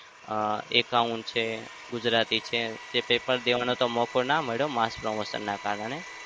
અમ account છે, ગુજરાતી છે. paper દેવાનો તો મોકોના મળ્યો mass promotion ના કારણે.